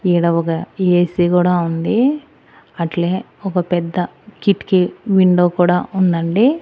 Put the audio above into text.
ఈడ ఒక ఏ_సి కూడా ఉంది అట్లే ఒక పెద్ద కిటికీ విండో కూడా ఉండండి.